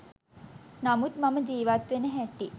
නමුත් මම ජීවත් වෙන හැටි